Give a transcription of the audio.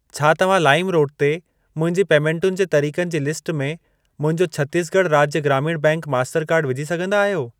छा तव्हां lime road ते मुंहिंजी पेमेंटुनि जे तरिक़नि जी लिस्ट में मुंहिंजो छत्तीसगढ़ राज्य ग्रामीण बैंक मास्टरकार्डु विझी सघंदा आहियो?